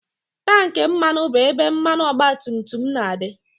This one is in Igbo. Tankị mmanụ bụ ebe mmanụ ọgbatumtum na-adị